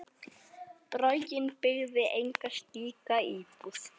Borgin byggði enga slíka íbúð.